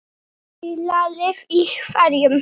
Dýralíf í hverum